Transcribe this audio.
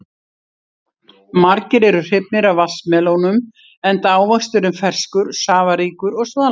Margir eru hrifnir af vatnsmelónum enda ávöxturinn ferskur, safaríkur og svalandi.